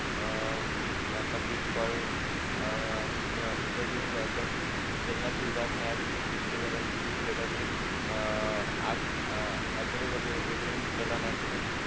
अह आपला बिटकॉइन अह आणि इतर म्हणजे अभ्यासक चलनाची उदाहरणे आहेत म्हणजे क्रिप्टो करेंसी जे जगाचे एक आगळेवेगळे म्हणजे चलन आहे तसेच